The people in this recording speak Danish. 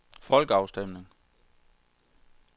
folkeafstemning